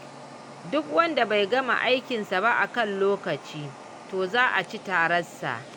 Duk wanda bai gama aikinsa ba a kan lokaci to za a ci tarar sa.